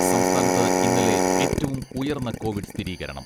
സംസ്ഥാനത്ത് ഇന്നലെ ഏറ്റവും ഉയർന്ന കോവിഡ് സ്ഥിരീകരണം.